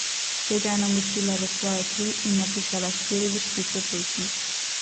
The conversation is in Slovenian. Tega je namočila v svojo kri in napisala štiri vrstice pesmi.